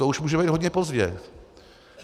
To už může být hodně pozdě.